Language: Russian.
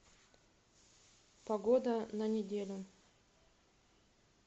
погода на неделю